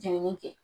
Jenini kɛ